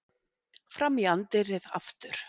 Fram í anddyrið aftur.